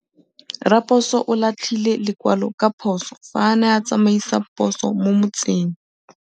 Raposo o latlhie lekwalô ka phosô fa a ne a tsamaisa poso mo motseng.